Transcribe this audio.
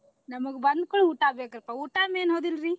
ನಮ್ಗ ಬಂದಕೂಡ್ಲೇ ಊಟಾ ಬೇಕ್ರೀಪಾ ಊಟಾ main ಹೌದಿಲ್ರಿ?